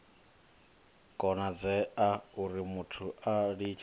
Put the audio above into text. konadzea urimuthu a litshe u